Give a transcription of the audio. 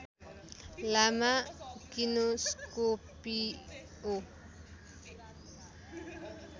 लामा किनोस्कोपिओ